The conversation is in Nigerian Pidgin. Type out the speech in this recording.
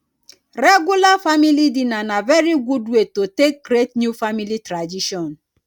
regular family dinner na very good way to take create new family tradition